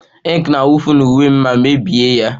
Ink na-awụfu na uwe m ma mebie ya